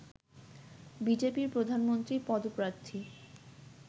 বিজেপির প্রধানমন্ত্রী পদপ্রার্থী